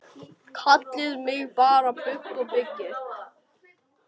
Kallið mig bara Bubba byggi.